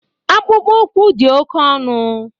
Akpụkpọ ụkwụ dị oke ọnụ